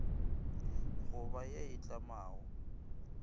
go ba ye e tlamago